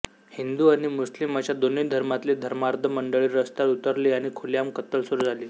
हिंदू आणि मुस्लिम अशा दोन्ही धर्मातली धर्मांध मंडळी रस्त्यावर उतरली आणि खुलेआम कत्तल सुरू झाली